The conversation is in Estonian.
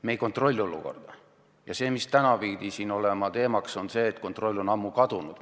Me ei kontrolli olukorda ja tänane teema pidi olema, et kontroll on ammu kadunud.